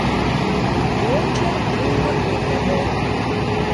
Vroče in napeto bo!